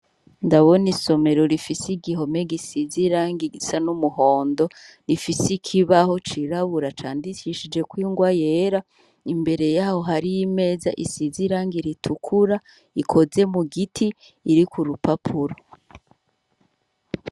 Ndabona isomero rifise igihome gisizi irangi igisa n'umuhondo rifise ikibaho cirabura candicishijeko ingwa yera imbere yaho hari y'imeza isize irangi ritukura ikoze mu giti iri ku rupapuro.